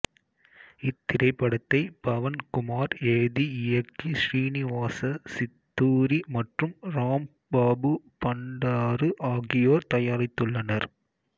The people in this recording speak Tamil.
இத்திரைப்படத்தை பவன் குமார் எழுதி இயக்கி ஶ்ரீனிவாச சித்தூரி மற்றும் இராம்பாபு பண்டாரு ஆகியோர் தயாரித்துள்ளனர்